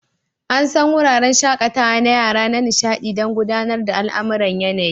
An san wuraren shakatawa na yara na nishaɗi don gudanar da al'amuran yanayi.